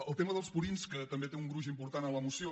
el tema dels purins que també té un gruix important en la moció